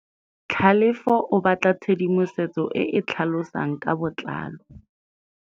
Tlhalefô o batla tshedimosetsô e e tlhalosang ka botlalô.